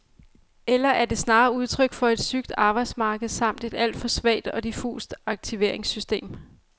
Eller er det snarere udtryk for et sygt arbejdsmarked samt et alt for svagt og diffust aktiveringssystem?